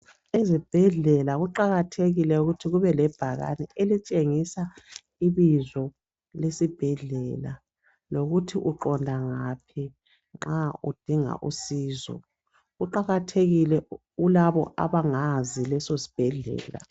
ezibhedlela kuqakathekile ukuthi kube lebhakani elitshengisa ibizo lesibhedlela lokuthi uqonda ngaphi nxa udinga usizo kuqakathekile kulabo abangazi leso sibhedlela